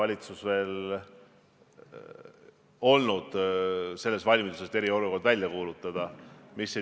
Mis puudutab 100+ üritusi, siis enamikus meie koolides on 100+ õpilast.